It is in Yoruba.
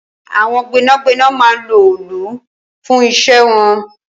Awọn gbẹnágbẹná mà n ló òòlú fùn iṣẹ̀ wọn